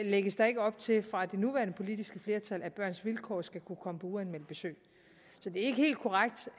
lægges der ikke op til fra det nuværende politiske flertals side at børns vilkår skal kunne komme på uanmeldt besøg så det er ikke helt korrekt